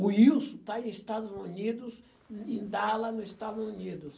O Wilson está em Estados Unidos, em Dallas, nos Estados Unidos.